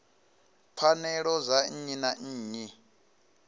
pfanelo dza nnyi na nnyi